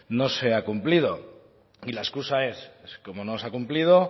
no se ha cumplido y la excusa es como no se ha cumplido